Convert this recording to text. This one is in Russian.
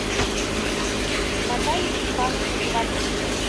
наталья степановна ковалевская